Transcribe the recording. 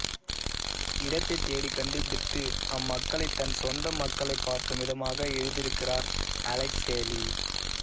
இடத்தை தேடி கண்டுபிடித்து அம்மக்களைத் தன் சொந்த மக்களைப் பார்க்கும் விதமாக எழுதியிருக்கிறார் அலெக்ஸ் ஹேலி